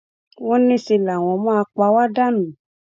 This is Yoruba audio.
wọn ní ṣẹ làwọn máa pa wá dànù